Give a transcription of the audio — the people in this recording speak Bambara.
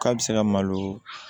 K'a bɛ se ka malo